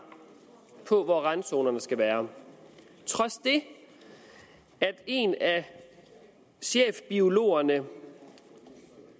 på hvor randzonerne skal være trods det at en af chefbiologerne